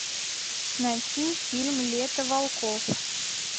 найти фильм лето волков